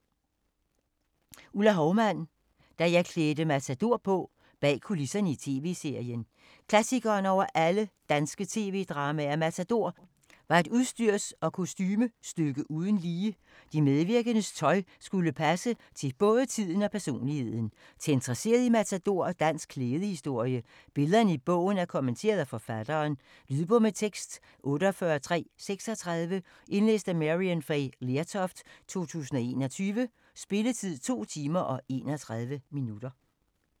Houmann, Ulla: Da jeg klædte Matador på: bag kulisserne på TV-serien Klassikeren over alle danske tv-dramaer, Matador, var et udstyrs- og kostumestykke uden lige. De medvirkendes tøj skulle passe til både tiden og personligheden. Til interesserede i Matador og dansk klædehistorie. Billederne i bogen er kommenteret af forfatteren. Lydbog med tekst 48336 Indlæst af Maryann Fay Lertoft, 2021. Spilletid: 2 timer, 31 minutter.